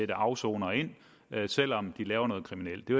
afsonere selv om de laver noget kriminelt det